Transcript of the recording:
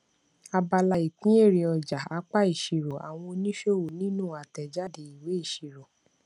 abala ìpín èrè ọjà apá ìṣirò àwọn oníṣòwò nínú àtèjáde ìwé ìṣirò